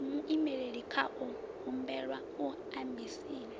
na vhuimeli khao humbelwa embasini